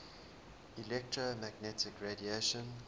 electromagnetic radiation